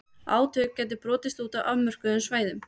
Átök gætu brotist út á afmörkuðum svæðum.